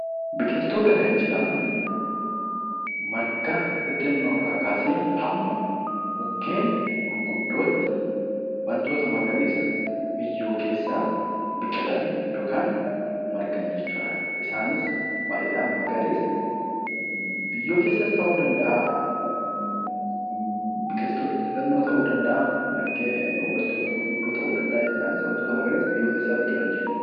Biqiltoota kan jedhaman marga xixinnoorraa kaasee hamma mukkeen gurguddootti wantoota magariisa biyyoo keessaa biqilan yookiin margan jechuudha. Isaanis baay'eedhaan magariisa biyyoo keessaas ta'uu danda'a, biqiltoota xixinnoo ta'uu danda'a, margee wantoota gurguddoo ta'uu danda'anidhaanis wantoota magariisa biyyoo keessaa margan jechuudha.